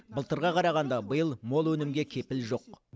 былтырға қарағанда биыл мол өнімге кепіл жоқ